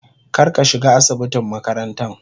kar ka shiga asibitin makarantan.